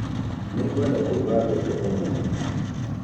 Nĩngwenda kũruga mbembe ũmũthĩ